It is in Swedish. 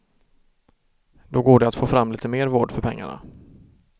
Då går det att få fram lite mer vård för pengarna.